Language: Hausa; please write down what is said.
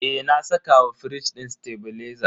Eh, na saka wa firij din tebileza.